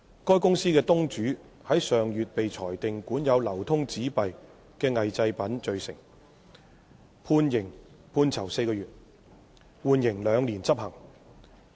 該公司的東主於上月被裁定管有流通紙幣的偽製品罪成，判囚4個月，緩刑兩年執行。